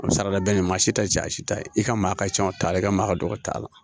A bɛ se ka da bɛɛ ni maa si tɛ ja si t'a ye i ka maa ka cɛn o t'a la i ka maa ka dɔgɔ o t'a la